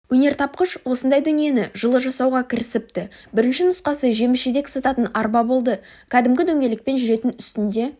өнертапқыш осындай дүниені жылы жасауға кірісіпті бірінші нұсқасы жеміс-жидек сататын арба болды кәдімгі дөңгелекпен жүретін үстінде